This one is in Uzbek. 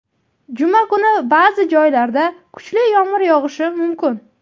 Juma kuni ba’zi joylarda kuchli yomg‘ir yog‘ishi mumkin.